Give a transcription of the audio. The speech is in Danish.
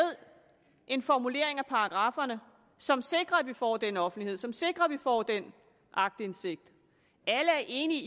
en formulering af paragrafferne som sikrer at vi får den offentlighed som sikrer at vi får den aktindsigt alle er enige